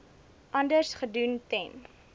anders gedoen ten